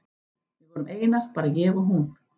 Við vorum einar, bara ég og hún.